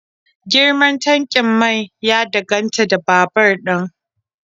Girman tankin mai ya danganta da babur din